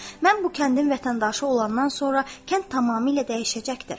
Mən bu kəndin vətəndaşı olandan sonra kənd tamamilə dəyişəcəkdir.